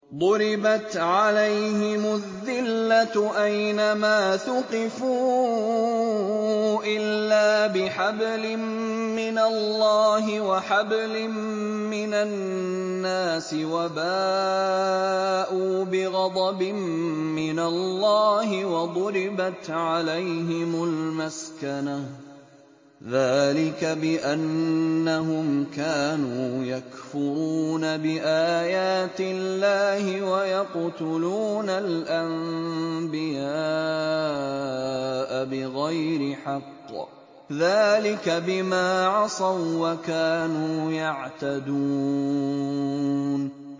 ضُرِبَتْ عَلَيْهِمُ الذِّلَّةُ أَيْنَ مَا ثُقِفُوا إِلَّا بِحَبْلٍ مِّنَ اللَّهِ وَحَبْلٍ مِّنَ النَّاسِ وَبَاءُوا بِغَضَبٍ مِّنَ اللَّهِ وَضُرِبَتْ عَلَيْهِمُ الْمَسْكَنَةُ ۚ ذَٰلِكَ بِأَنَّهُمْ كَانُوا يَكْفُرُونَ بِآيَاتِ اللَّهِ وَيَقْتُلُونَ الْأَنبِيَاءَ بِغَيْرِ حَقٍّ ۚ ذَٰلِكَ بِمَا عَصَوا وَّكَانُوا يَعْتَدُونَ